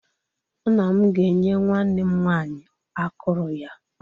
Nna m ga-enye nwanne m nwaanyị akụrụ ya.